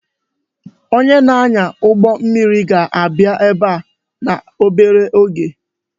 Onye na-anya ụgbọ mmiri ga-abịa ebe a obere oge